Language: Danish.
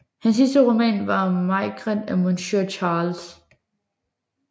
Hans sidste roman var Maigret et Monsieur Charles